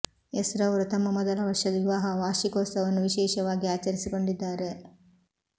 S ರವರು ತಮ್ಮ ಮೊದಲ ವರ್ಷದ ವಿವಾಹ ವಾರ್ಷಿಕೋತ್ಸವವನ್ನು ವಿಶೇಷವಾಗಿ ಆಚರಿಸಿಕೊಂಡಿದ್ದಾರೆ